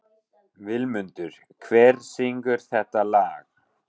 Vilmundur, hver syngur þetta lag?